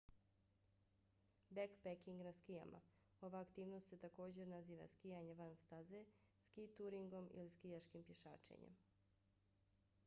bekpeking na skijama: ova aktivnost se također naziva skijanje van staze ski-turingom ili skijaškim pješačenjem